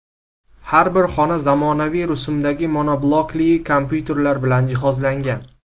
Har bir xona zamonaviy rusumdagi monoblokli kompyuterlar bilan jihozlangan.